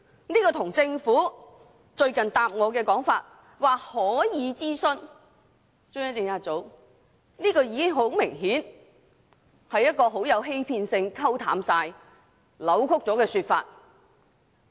比較之下，政府最近答覆我時指可以諮詢中央政策組，明顯是一種具欺騙性、意圖令事件降溫的扭曲說法。